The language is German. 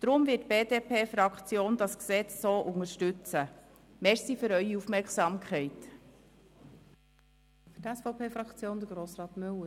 Deshalb wird die BDP-Fraktion das nun vorliegende Gesetz unterstützen.